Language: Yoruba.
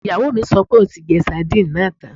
Ìyàwó mi sọ pé òun ti jẹ sadínìnì náà tán